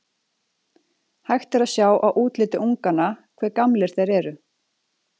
Hægt er að sjá á útliti unganna hve gamlir þeir eru.